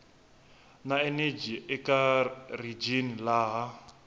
na eneji eka rijini laha